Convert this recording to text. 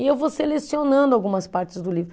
E eu vou selecionando algumas partes do livro.